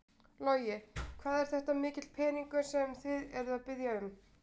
Logi: Hvað er þetta mikill peningur sem þið eruð að biðja um?